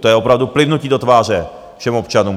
To je opravdu plivnutí do tváře všem občanům.